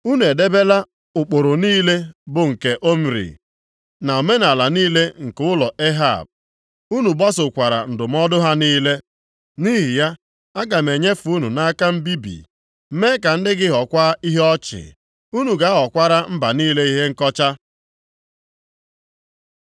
Unu edebela ụkpụrụ niile bụ nke Omri, na omenaala niile nke ụlọ Ehab, unu gbasokwara ndụmọdụ ha niile. Nʼihi ya, aga m enyefe unu nʼaka mbibi mee ka ndị gị ghọọkwa ihe ọchị, unu ga-aghọkwara mba niile ihe nkọcha.”